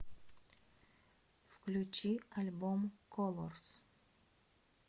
включи альбом колорс